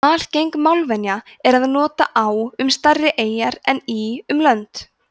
algeng málvenja er að nota á um stærri eyjar en í um lönd